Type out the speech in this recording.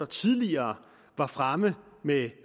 tidligere var fremme med